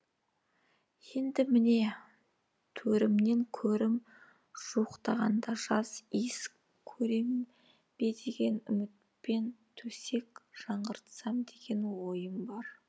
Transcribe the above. енді міне төрімнен көрім жуықтағанда жас иіс көрем бе деген үмітпен төсек жаңғыртсам деген ойым бар